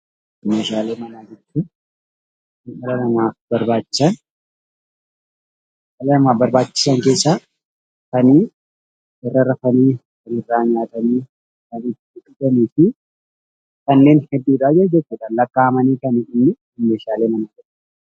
Meeshaalee manaa jechuun kan dhala namaaf barbachisaan kan irra raffaan, kan itti dhugaannifi kannen heddudha.